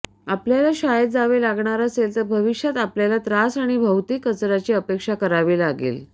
आपल्याला शाळेत जावे लागणार असेल तर भविष्यात आपल्याला त्रास आणि भौतिक कचराची अपेक्षा करावी लागेल